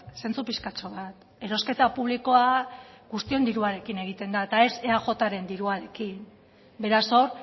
zentzu pixkatxo bat erosketa publikoa guztion diruarekin egiten da eta ez eajren diruarekin beraz hor